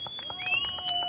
Bravo!